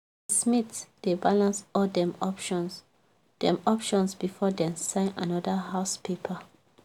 the smith dey balance all dem options dem options before dem sign another house paper.